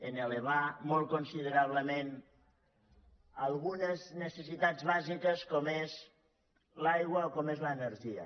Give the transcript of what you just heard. en elevar molt considerablement algunes necessitats bàsiques com és l’aigua o com és l’energia